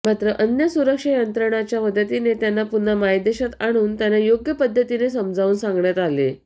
मात्र अन्य सुरक्षा यंत्रणांच्या मदतीने त्यांना पुन्हा मायदेशात आणून त्यांना योग्य पद्धतीने समजावून सांगण्यात आले